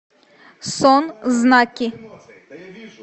сон знаки